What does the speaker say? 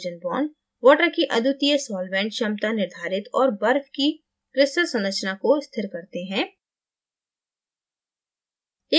hydrogen bondswater की अद्वितीय solvent विलायक क्षमता निर्धारित और बर्फ़ की crystal संरचना को स्थिर करते हैं